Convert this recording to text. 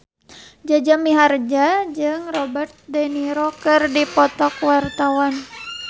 Jaja Mihardja jeung Robert de Niro keur dipoto ku wartawan